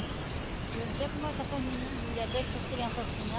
E eu não sei como é que essas menina mulher deixam essas crianças assim.